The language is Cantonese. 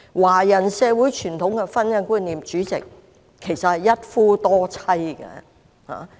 華人社會的傳統婚姻觀念，主席，其實是一夫多妻的。